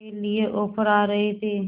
के लिए ऑफर आ रहे थे